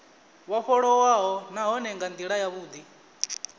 vhofholowaho nahone nga ndila yavhudi